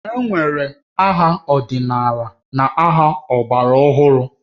E nwere ma aha ọdịnala na aha ọgbara ọhụrụ